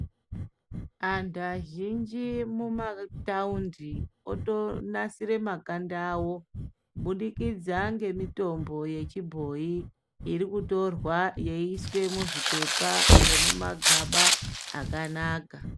Antu azhinji mumathaundi otonasire makanda awo kubudikidza ngemitombo yechibhoyi iri kutorwa yechiiswe muzvipepa nemumagaba akanaka.